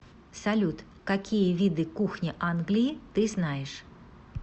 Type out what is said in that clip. салют какие виды кухня англии ты знаешь